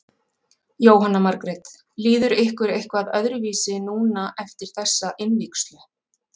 Jóhanna Margrét: Líður ykkur eitthvað öðruvísi núna eftir þessa innvígslu?